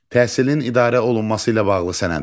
Təhsilin idarə olunması ilə bağlı sənədlər.